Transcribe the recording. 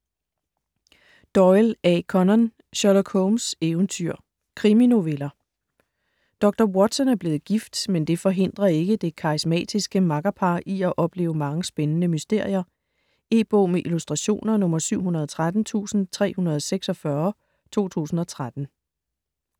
Doyle, A. Conan: Sherlock Holmes' eventyr Kriminoveller. Dr. Watson er blevet gift, men det forhindrer ikke det karismatiske makkerpar i at opleve mange spændende mysterier. E-bog med illustrationer 713346 2013.